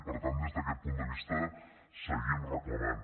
per tant des d’aquest punt de vista seguim reclamant